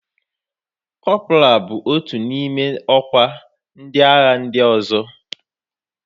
Kọpra bụ otu n'ime ọkwa ndị agha ndị ọzọ.